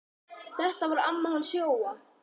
Þetta var amma hans Jóa.